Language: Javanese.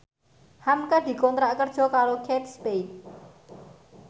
hamka dikontrak kerja karo Kate Spade